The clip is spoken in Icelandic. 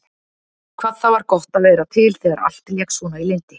Hvað það var gott að vera til þegar allt lék svona í lyndi.